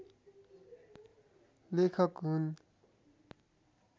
लेखक हुन्